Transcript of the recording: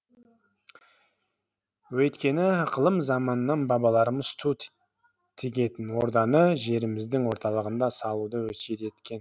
өйткені ықылым заманнан бабаларымыз ту тігетін орданы жеріміздің орталығында салуды өсиет еткен